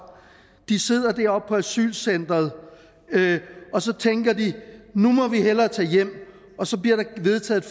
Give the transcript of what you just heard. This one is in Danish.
de sidder der på asylcenteret og så tænker de at nu må vi hellere tage hjem og så bliver der vedtaget